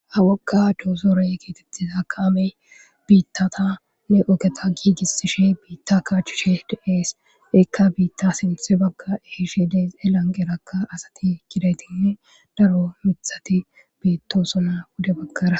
hawoqa doosoraye keetettizaaka ame biittatanne ogeta giigissishe biitta kaachushe deees ekka biitta sinthe bagka eshe dees elanqerakka asati gidaytinne daro mithati biittosona wude bagkara